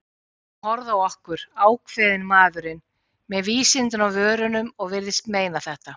Hann horfði á okkur, ákveðinn maðurinn, með vísindin á vörunum- og virtist meina þetta.